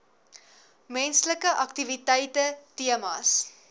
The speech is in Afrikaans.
menslike aktiwiteite temas